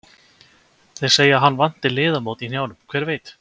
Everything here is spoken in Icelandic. Þeir segja að hann vanti liðamót í hnjánum, hver veit?